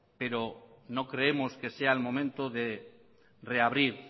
pero no creemos que sea el momento de reabrir